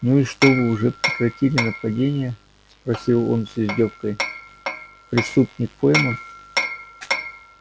ну и что вы уже прекратили нападения спросил он с издёвкой преступник пойман